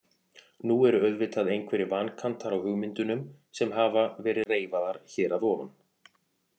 Nú eru auðvitað einhverjir vankantar á hugmyndunum sem hafa verið reifaðar hér að ofan.